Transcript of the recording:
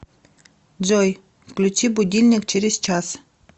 джой включи будильник через час